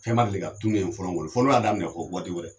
Fɛn ma deli ka tunun ye fɔlɔ kɔli fɔ n'u y'a daminɛ ho waati wɛrɛ